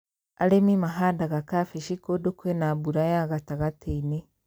Arĩmi mahandaga kambĩji kũnd kwĩna mbura ya gatagatĩ-inĩ